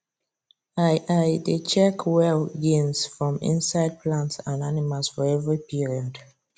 i i dey check well gains inside plants and animals for every period